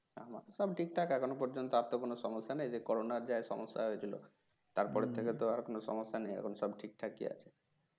সব ঠিক ঠাক এখনো পর্যন্তু আর তো কনো সমস্যা নেই সে করোনা যা সমস্যা হয়েছিল তার পর হম থেকে তো আর কোনো সমস্যা নেই এখন সব ঠিকঠাকই আছে